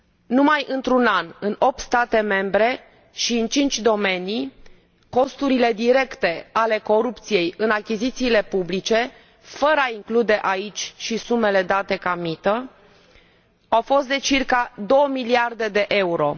Numai într un an, în opt state membre și în cinci domenii, costurile directe ale corupției în achizițiile publice, fără a include aici și sumele date ca mită, au fost de circa două miliarde de euro.